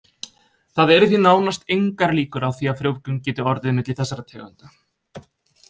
Það eru því nánast engar líkur á því að frjóvgun geti orðið milli þessara tegunda.